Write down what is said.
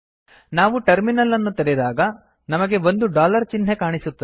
ನಾವು ಟರ್ಮಿನಲ್ ಅನ್ನು ತೆರೆದಾಗ ನಮಗೆ ಒಂದು ಡಾಲರ್ ಚಿಹ್ನೆ ಕಾಣಸಿಗುತ್ತದೆ